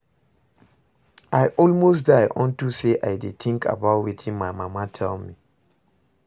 I almost die today unto say I dey think about wetin my mama tell me